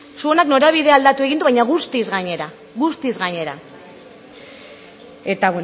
zuonak norabidea aldatu egin du baina guztiz gainera eta